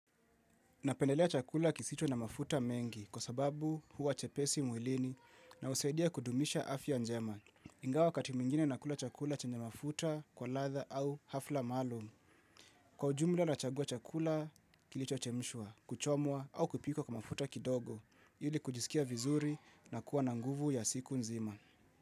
Napendelea chakula kisicho na mafuta mengi kwa sababu huwa chepesi mwilini na husaidia kudumisha afya njema. Ingawa wakati mwingine na kula chakula chenye mafuta kwa ladha au hafla maalumu. Kwa ujumla na chagua chakula kilicho chemshwa, kuchomwa au kupikwa kwa mafuta kidogo. Ili kujisikia vizuri na kuwa na nguvu ya siku nzima.